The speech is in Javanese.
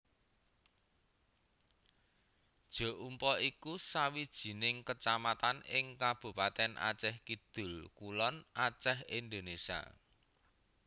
Jeumpa iku sawijining kecamatan ing Kabupatèn Acèh Kidul kulon Acèh Indonésia